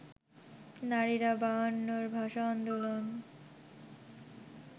নারীরা বায়ান্নর ভাষা আন্দোলন